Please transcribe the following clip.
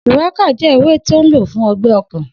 Shùwákà jẹ́ ewé tó n lò fún ọgbẹ́ ọkàn